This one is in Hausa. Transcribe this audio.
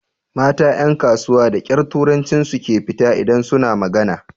Mata ƴan kasuwa da ƙyar turancin su ke fita idan su na magana.